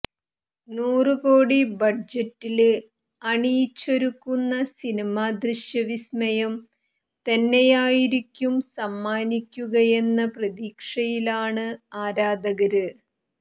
നൂറ് കോടി ബഡ്ജറ്റില് അണിയിച്ചൊരുക്കുന്ന സിനിമ ദൃശ്യവിസ്മയം തന്നെയായിരിക്കും സമ്മാനിക്കുകയെന്ന പ്രതീക്ഷയിലാണ് ആരാധകര്